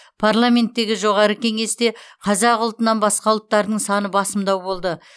парламенттегі жоғары кеңесте қазақ ұлтынан басқа ұлттардың саны басымдау болды